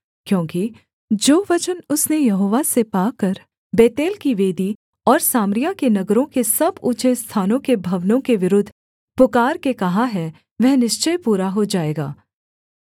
क्योंकि जो वचन उसने यहोवा से पाकर बेतेल की वेदी और सामरिया के नगरों के सब ऊँचे स्थानों के भवनों के विरुद्ध पुकारके कहा है वह निश्चय पूरा हो जाएगा